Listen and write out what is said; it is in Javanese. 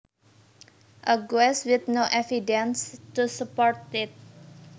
A guess with no evidence to support it